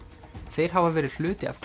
þeir hafa verið hluti af